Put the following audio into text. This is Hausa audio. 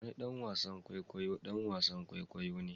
Wani ɗan wasan kwaikwayo ɗan wasan kwaikwayo ne